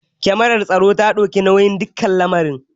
Kamarar tsaro ta ɗauki dukkan lamarin.